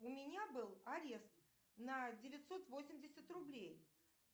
у меня был арест на девятьсот восемьдесят рублей